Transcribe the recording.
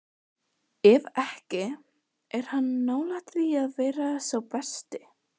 Ef ekki, er hann nálægt því að vera sá besti?